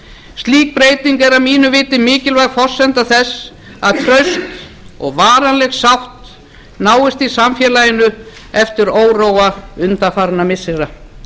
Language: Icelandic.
slík breyting er að mínu viti mikilvæg forsenda þess að friður og varanleg sátt náist í samfélaginu eftir óróa undanfarinna missira